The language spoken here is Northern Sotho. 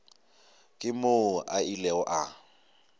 ke moo a ilego a